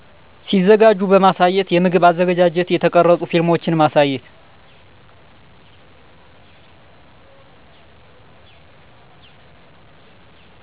ሲዘጋጂ በማሳየት የምግብ አዘገጃጀት የተቀረፁ ፊልሞችን ማሳየት